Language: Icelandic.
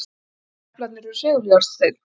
Svörtu deplarnir eru seguljárnsteinn.